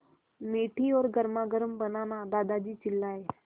मीठी और गर्मागर्म बनाना दादाजी चिल्लाए